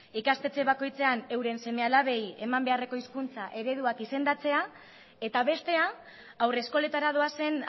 ikastetxe bakoitzean euren seme alabei eman beharreko hizkuntza eredua izendatzea eta bestea haurreskoletara doazen